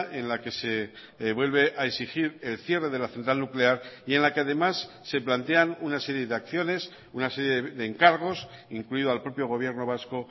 en la que se vuelve a exigir el cierre de la central nuclear y en la que además se plantean una serie de acciones una serie de encargos incluido al propio gobierno vasco